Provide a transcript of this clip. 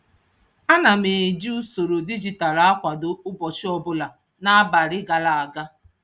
Ana m eji usoro dijitalụ akwado ụbọchị ọbụla n'abalị gara aga.